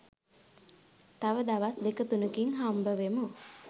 තව දවස් දෙක තුනකින් හම්බවෙමු